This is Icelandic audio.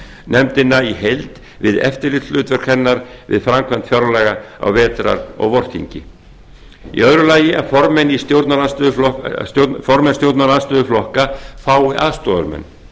nefndina í heild við eftirlitshlutverk hennar við framkvæmd fjárlaga á vetrar og vorþingi annars að formenn stjórnarandstöðuflokka fái aðstoðarmenn